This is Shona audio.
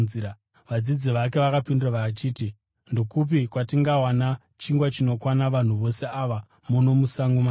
Vadzidzi vake vakapindura vachiti, “Ndokupi kwatingawana chingwa chinokwana vanhu vose ava muno musango makadai?”